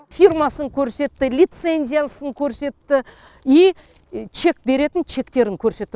фирмасын көрсетті лицензиясын көрсетті и чек беретін чектерін көрсетті